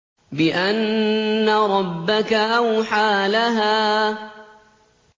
بِأَنَّ رَبَّكَ أَوْحَىٰ لَهَا